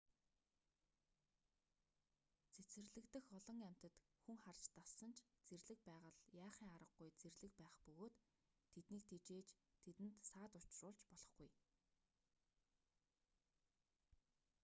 цэцэрлэг дэх олон амьтад хүн харж дассан ч зэрлэг байгаль яахын аргагүй зэрлэг байх бөгөөд тэднийг тэжээж тэдэнд саад учруулж болохгүй